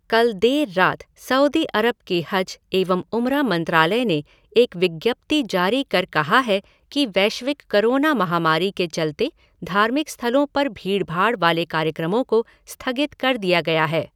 कल देर रात सऊदी अरब के हज एवं उमरा मंत्रालय ने एक विज्ञप्ति जारी कर कहा है कि वैश्विक कोरोना महामारी के चलते धार्मिक स्थलों पर भीड़ भाड़ वाले कार्यक्रमों को स्थगित कर दिया गया है।